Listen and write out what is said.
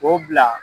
K'o bila